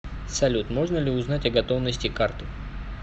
салют можно ли узнать о готовности карты